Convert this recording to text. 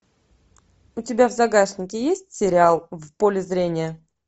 у тебя в загашнике есть сериал в поле зрения